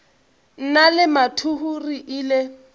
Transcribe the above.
nna le mathuhu re ile